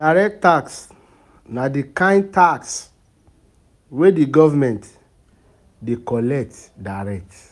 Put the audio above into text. Direct tax na di kind tax wey di government dey collect direct